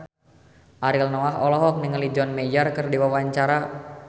Ariel Noah olohok ningali John Mayer keur diwawancara